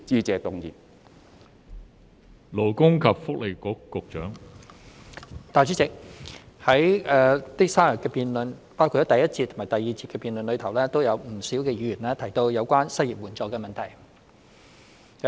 代理主席，在這3天的辯論中，包括第一節及第二節的辯論中，不少議員提到有關失業援助的問題。